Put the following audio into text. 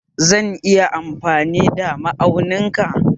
Zan iya amfani da ma aunin ka don Allah